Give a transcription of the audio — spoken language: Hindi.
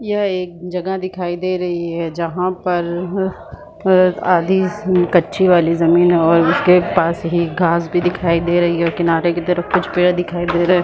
यह एक जगह दिखाई दे रही है जहाँ पर हँ अ खेत आदि कच्ची वाली ज़मीन है उसके पास ही घास भी दिखाई दे रही है और किनारे की तरफ कुछ पेड़ दिखाई दे रहे है।